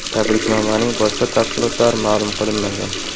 Tabriknomaning boshqa tafsilotlari ma’lum qilinmagan.